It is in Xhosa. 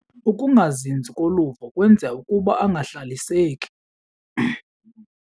Ukungazinzi koluvo kwenza ukuba angahlaliseki.